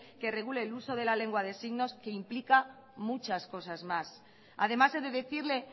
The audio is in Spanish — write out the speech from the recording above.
que regule el uso de la lengua de signos que implica muchas cosas más además he de decirle